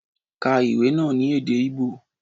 Ká ìwé náà ní èdè Igbo!